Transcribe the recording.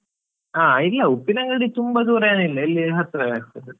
ಅ ಇಲ್ಲಾ, ಉಪ್ಪಿನಂಗಡಿ ತುಂಬಾ ದೂರೇನಿಲ್ಲ ಇಲ್ಲೇ ಹತ್ರವೇ ಆಗ್ತದೆ.